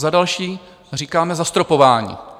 Za další říkáme: zastropování.